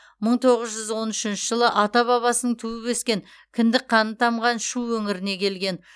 мың тоғыз жүз он үшінші жылы ата бабасының туып өскен кіндік қаны тамған шу өңіріне келген